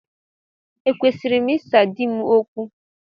Ekwesịrị m ịsa di m okwu?